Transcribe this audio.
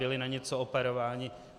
Byli na něco operováni?